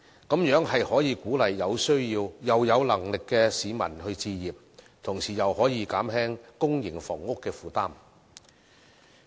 這樣便可以鼓勵有需要又有能力的市民置業，同時亦可以減輕公營房屋的負擔。